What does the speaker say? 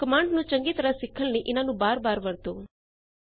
command ਨੂੰ ਚੰਗੀ ਤਰਹ ਸਿੱਖਣ ਲਈ ਇਨਾਂ ਨੂੰ ਬਾਰ ਬਾਰ ਵਰਤੋ